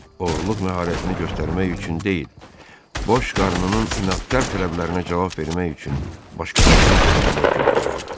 Oğurluq məharətini göstərmək üçün deyil, boş qarnının inadkar tələblərinə cavab vermək üçün başqalarının yeməyinə göz qoyurdu.